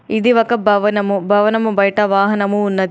ఇది ఒక భవనము. భవనము బయట వాహనము ఉన్నది.